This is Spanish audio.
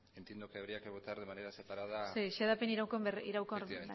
entiendo que habría que votar de manera separada sí xedapen iraunkor berria